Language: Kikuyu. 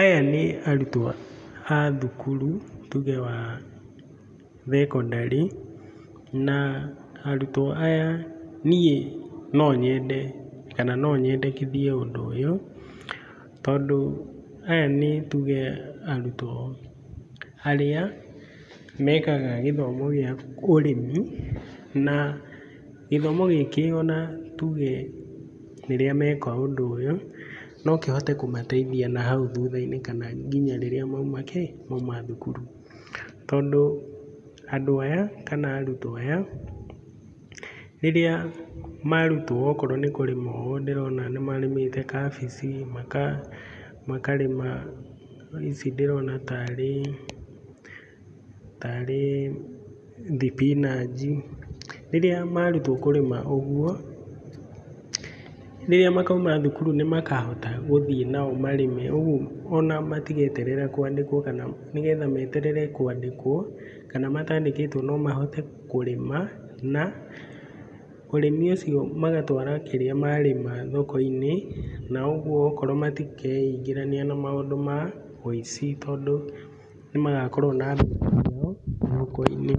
Aya nĩ arutwo a thukuru tuge wa thekondarĩ, na arutwo aya niĩ no nyende, kana no nyendekithie ũndũ ũyũ tondũ aya nĩ tuge arutwo arĩa mekaga gĩthomo gĩa ũrĩmi. Na gĩthomo gĩkĩ ona tuge rĩrĩa meka ũndũ ũyũ, no kĩhote kũmateithia nahau thutha-inĩ kana nginya rĩrĩa mauma kĩĩ? Mauma thukuru. Tondũ andũ aya, kana arutwo aya, rĩrĩa marutwo okorwo nĩ kũrĩma ũyũ ndĩrona nĩ marĩmĩte kabici, makarĩma ici ndĩrona ta rĩ, ta rĩ thibinanji, rĩrĩa marutwo kũrĩma ũguo, rĩrĩa makauma thukuru nĩ magahoka gũthiĩ o nao marĩme, ũguo ona matigeterera kwandĩkwo, kana nĩgetha meterere kwandĩkwo kana matandĩkĩtwo no mahote kũrĩma, na ũrĩmi ũcio magatwara kĩrĩa marĩma thoko-inĩ na ũguo okorwo matikeingĩrania na maũndũ ma ũici, tondũ nĩ magakorwo na mbeca ciao mũhuko-inĩ,